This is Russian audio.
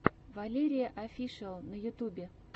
валерияофишиал на ютюбе